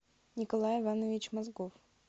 николай иванович мозгов